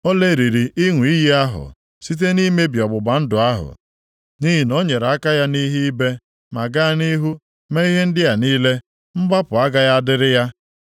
O lelịrị ịṅụ iyi ahụ site nʼimebi ọgbụgba ndụ ahụ. Nʼihi na o nyere aka ya nʼihe ibe ma gaa nʼihu mee ihe ndị a niile, mgbapụ agaghị adịrị ya.